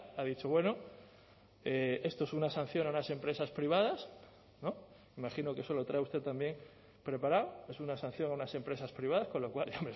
ha dicho bueno esto es una sanción a unas empresas privadas me imagino que eso lo trae usted también preparado es una sanción a unas empresas privadas con lo cual es